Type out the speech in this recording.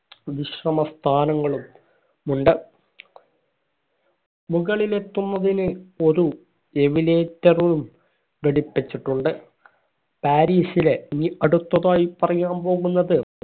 വിശ്രമ സ്ഥാനങ്ങളും മുണ്ട് മുകളിലെത്തുന്നതിന് ഒരു elevator ഉം പിടിപ്പിച്ചിട്ടുണ്ട് പാരിസിലെ ഇനി അടുത്തതായി പറയാൻ പോകുന്നത്